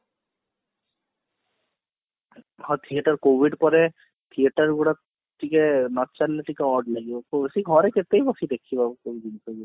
ହଁ theater covid ପରେ theater ଗୁଡାକ ଟିକେ ଟିକେ odd ଲାଗିବ ସେ ସେ ଘରେ କେତେ ବି ବସି ଦେଖିବ ସେଇ ଜିନିଷ କୁ